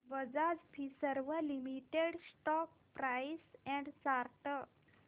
Bajaj Finserv limited stock price and chart